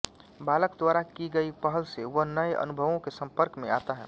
बालक द्वारा की गई पहल से वह नए अनुभवों के संपर्क में आता है